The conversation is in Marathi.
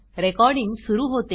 रेकॉर्डिंग सुरू होते